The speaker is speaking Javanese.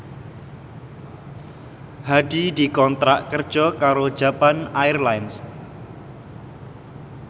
Hadi dikontrak kerja karo Japan Airlines